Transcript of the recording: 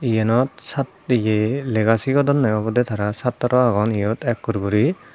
eyanot sat ye lega sigodonde obode tara satro agon eyot ekkur guri.